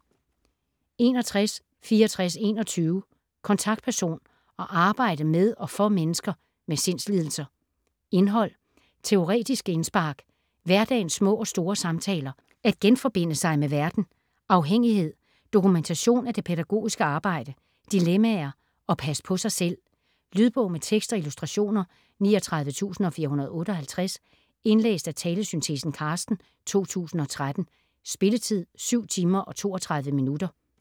61.6421 Kontaktperson: at arbejde med og for mennesker med sindslidelser Indhold: Teoretiske indspark, Hverdagens små og store samtaler, At genforbinde sig med verden, Afhængighed, Dokumentation af det pædagogiske arbejde, Dilemmaer, At passe på sig selv. Lydbog med tekst og illustrationer 39458 Indlæst af talesyntesen Carsten, 2013. Spilletid: 7 timer, 32 minutter.